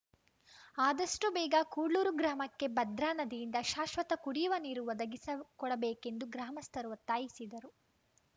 ಆದಷ್ಟುಬೇಗ ಕುಡ್ಲೂರು ಗ್ರಾಮಕ್ಕೆ ಭದ್ರಾ ನದಿಯಿಂದ ಶಾಶ್ವತ ಕುಡಿಯುವ ನೀರು ಒದಗಿಸಿಕೊಡಬೇಕೆಂದು ಗ್ರಾಮಸ್ಥರು ಒತ್ತಾಯಿಸಿದರು